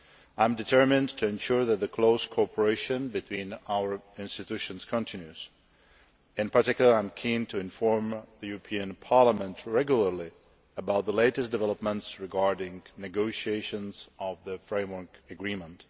I am determined to ensure that the close cooperation between our institutions continues. In particular, I am keen to inform the European Parliament regularly about the latest developments regarding negotiations on the Framework Agreement.